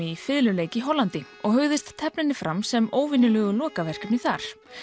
í fiðluleik í Hollandi og hugðist tefla henni fram sem óvenjulegu lokaverkefni þar